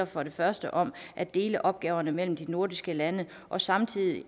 for det første om at dele opgaverne mellem de nordiske lande og samtidig